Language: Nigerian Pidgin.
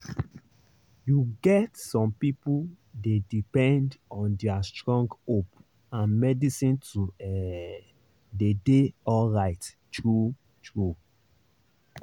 you get some people dey depend on their strong hope and medicine to ehh dey dey alright true-true